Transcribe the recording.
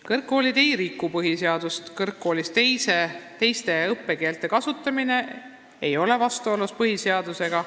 " Kõrgkoolid ei riku põhiseadust, kõrgkoolis teiste õppekeelte kasutamine ei ole vastuolus põhiseadusega.